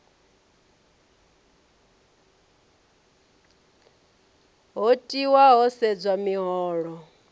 do tiwa ho sedzwa miholo